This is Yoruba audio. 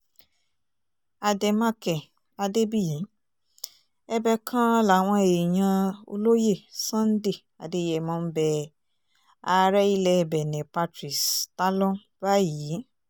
àdèmàkè adébíyí ẹ̀bẹ̀ kan làwọn èèyàn olóyè sunday adeyémọ̀ ń bẹ ààrẹ ilẹ̀ benne patrice tálọ́n báyìí